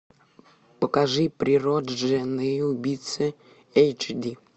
покажи прирожденные убийцы эйч ди